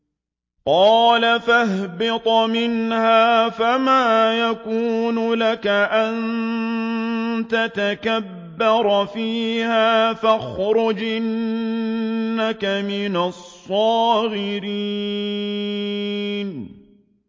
قَالَ فَاهْبِطْ مِنْهَا فَمَا يَكُونُ لَكَ أَن تَتَكَبَّرَ فِيهَا فَاخْرُجْ إِنَّكَ مِنَ الصَّاغِرِينَ